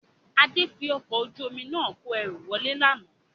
Adé fi ọkọ̀ ojú omi náà kò ẹrú wọlé lánàá